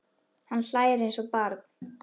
Hann hlær eins og barn.